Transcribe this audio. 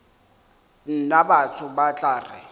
nna batho ba tla re